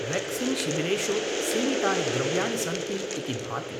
वेक्सीन्शिबिरेषु सीमितानि द्रव्याणि सन्ति इति भाति।